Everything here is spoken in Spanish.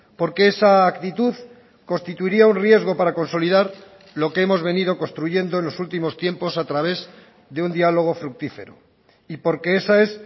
porque esa actitud constituiría un riesgo para consolidar lo que hemos venido construyendo en los últimos tiempos a través de un diálogo fructífero y porque esa es